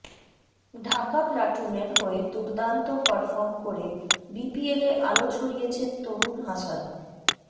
ঢাকা প্লাটুনের হয়ে দুর্দান্ত পারফর্ম করে বিপিএলে আলো ছড়িয়েছেন তরুণ হাসান